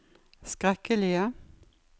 skrekkelige